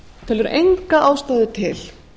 telur enga ástæðu til